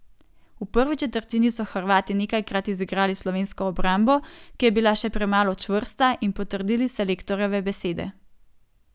V prvi četrtini so Hrvati nekajkrat izigrali slovensko obrambo, ki je bila še premalo čvrsta in potrdili selektorjeve besede.